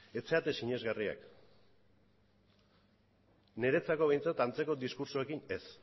ez zarete sinesgarriak niretzako behintzat antzeko diskurtsoekin ez